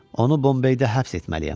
Onu Bombeydə həbs etməliyəm.